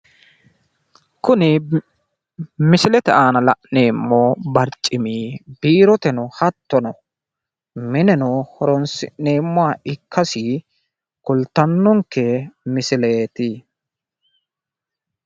Kuni misilete aana la'neemmo barcimi biiroteno hattono mineno horonsi'neemmoha ikkasi kulttannonke misileeti.